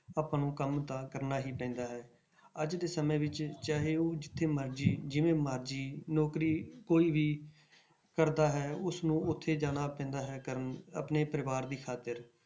ਆਪਾਂ ਨੂੰ ਕੰਮ ਤਾਂ ਕਰਨਾ ਹੀ ਪੈਂਦਾ ਹੈ, ਅੱਜ ਦੇ ਸਮੇਂ ਵਿੱਚ ਚਾਹੇ ਉਹ ਜਿੱਥੇ ਮਰਜ਼ੀ ਜਿਵੇਂ ਮਰਜ਼ੀ ਨੌਕਰੀ ਕੋਈ ਵੀ ਕਰਦਾ ਹੈ ਉਸਨੂੰ ਉੱਥੇ ਜਾਣਾ ਪੈਂਦਾ ਹੈ ਕਰਨ ਆਪਣੇ ਪਰਿਵਾਰ ਦੀ ਖ਼ਾਤਿਰ